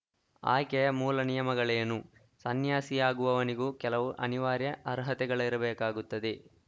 ಆಯ್ಕೆಯ ಮೂಲ ನಿಯಮಗಳೇನು ಸನ್ಯಾಸಿಯಾಗುವವನಿಗೂ ಕೆಲವು ಅನಿವಾರ್ಯ ಅರ್ಹತೆಗಳಿರಬೇಕಾಗುತ್ತದೆ